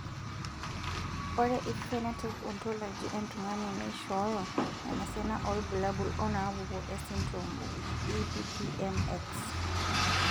Ore ephenotype ontology etung'ani neishooyo enasiana oorbulabul onaapuku esindirom ePPM X.